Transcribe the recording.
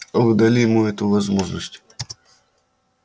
а вы дали ему эту возможность